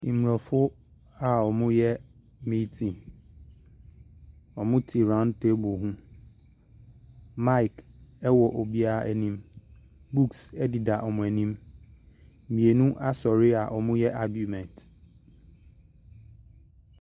Mmrɔfo a wɔreyɛ meeting. Wɔte round table bi ho. Mic wɔ obiara anim. Books deda wɔn anim. Mmienu asɔre a wɔreyɛ aguement.